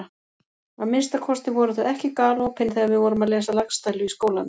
Að minnsta kosti voru þau ekki galopin þegar við vorum að lesa Laxdælu í skólanum.